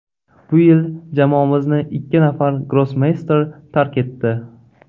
Bu yil jamoamizni ikki nafar grossmeyster tark etdi.